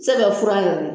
Sɛbɛn fura yɛrɛ